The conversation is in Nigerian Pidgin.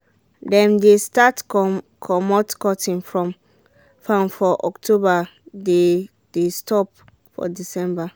dem de start comot cotton from farm for october they dey stop for december